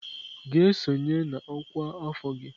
Gaa sonye na ọkwa afọ gị!